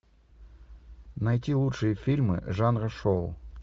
найти лучшие фильмы жанра шоу